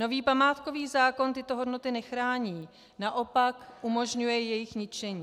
Nový památkový zákon tyto hodnoty nechrání, naopak umožňuje jejich ničení.